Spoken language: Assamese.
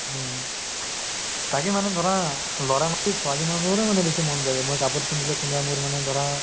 উম তাকে মানে ধৰা লʼৰাতকে ছোৱালী মানুহৰে বেছি মন যায়, মই কাপোৰ পিন্ধিলে কোনোবাই মোৰ মানে ধৰা